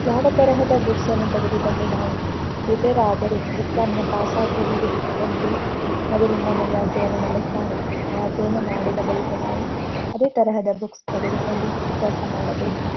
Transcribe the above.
ಯಾವ ತರಹದ ಬುಕ್ಸ್ ಅನ್ನು ತೆಗೆದುಕೊಂಡು ನಾವು ಪ್ರಿಪೇರ್ ಆದರೆ ಎಕ್ಸಾಮ್ನ ಪಾಸ್ ಆಗಬಹುದು ಎಂದು ನಮಗೆ ಮೊದಲು ಅಧ್ಯಯನ ಮಾಡುತ್ತಾರೆ. ಆ ಅಧ್ಯಯನ ಮಡಿದ ಬಳಿಕ ನಾವು ಅದೇ ತರಹ ಬುಕ್ಸ್ ತೆಗೆದುಕೊಡು ಅಭ್ಯಾಸ ಮಾಡಬೇಕು.